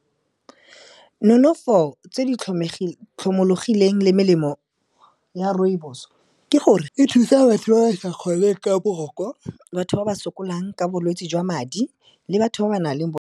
Nonofo tse di tlhomologileng le melemo ya rooibos-o ke gore e thusa batho ba ba sa kgoneng ka boroko, batho ba ba sokolang ka bolwetse jwa madi le batho ba ba nang le .